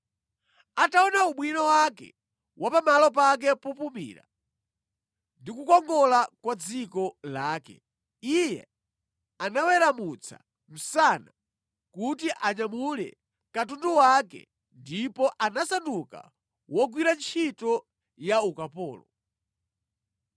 Ataona ubwino wake wa pamalo pake popumira ndi kukongola kwa dziko lake, iye anaweramutsa msana kuti anyamule katundu wake ndipo anasanduka wogwira ntchito ya ukapolo.